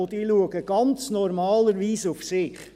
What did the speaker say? Und diese achten ganz normalerweise auf sich.